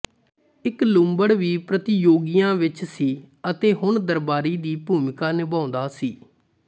ਇੱਕ ਲੂੰਬੜ ਵੀ ਪ੍ਰਤੀਯੋਗੀਆਂ ਵਿੱਚ ਸੀ ਅਤੇ ਹੁਣ ਦਰਬਾਰੀ ਦੀ ਭੂਮਿਕਾ ਨਿਭਾਉਂਦਾ ਸੀ